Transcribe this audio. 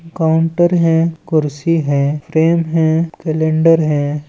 Counter है कुर्सी है फ्रेम है कैलेंडर है।